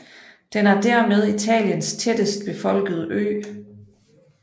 Den er dermed Italiens tættest befolkede ø